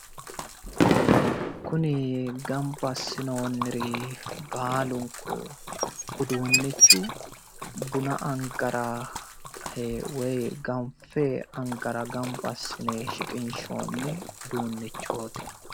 Kuni gamba assinoonniri baalunku uduunnichu buna angara woyi ganfe angara gamba assine shiqinshoonni uduunnichooti.